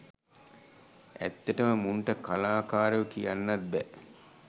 ඇත්තටම මුන්ට කලාකාරයෝ කියන්නත් බෑ